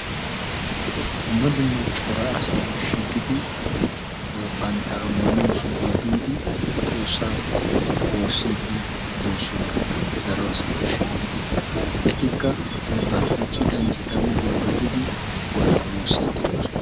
Dumma dumma cora asay shiiqidi bantta ammaniyo sohuwa biidi xoossaa woossiiddi doosona. Daro asati shiiqidi etikka bantta citan citan gulbbatidi godaa woossiiddi doosona.